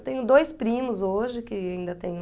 Eu tenho dois primos hoje que ainda tenho...